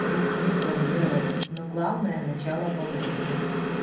рекламировать но главное начало положено